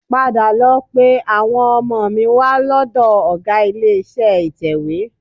Padà lọ pe àwọn ọmọ mi wá lọ́dọ̀ ọgá ilé-iṣẹ́ ìtẹ̀wé